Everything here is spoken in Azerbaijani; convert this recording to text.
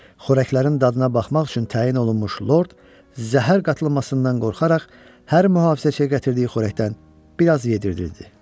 Xörəklərin dadına baxmaq üçün təyin olunmuş lord zəhər qatılmasından qorxaraq hər mühafizəçiyə gətirdiyi xörəkdən biraz yeyirdi.